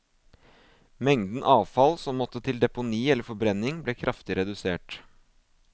Mengden avfall som måtte til deponi eller forbrenning, ble kraftig redusert.